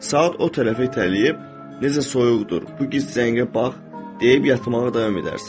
Saati o tərəfə itələyib, necə soyuqdur, bu gec zəngə bax, deyib yatmağa davam edərsən.